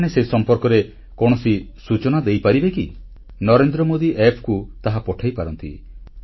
ଆପଣମାନେ ସେ ସମ୍ପର୍କରେ କୌଣସି ସୂଚନା ଦେଇପାରିବେ କି ନରେନ୍ଦ୍ର ମୋଦି Appକୁ ତାହା ପଠାଇପାରନ୍ତି